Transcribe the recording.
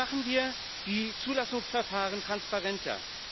Wie machen wir die Zulassungsverfahren transparenter?